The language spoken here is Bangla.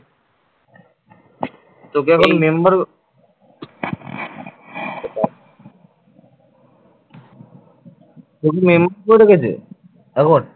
এখন